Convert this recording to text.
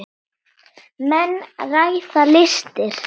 Menn ræða listir.